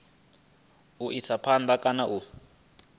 u isa phanda kana u